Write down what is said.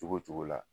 Cogo cogo la